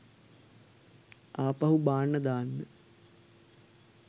ආපහු බාන්න දාන්න.